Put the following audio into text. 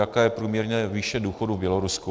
Jaká je průměrná výše důchodu v Bělorusku?